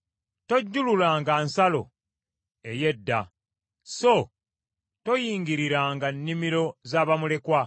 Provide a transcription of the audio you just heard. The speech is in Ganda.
Tojjululanga nsalo ey’edda, so toyingiriranga nnimiro za bamulekwa,